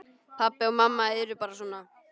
Pabbi og mamma eru bara svona.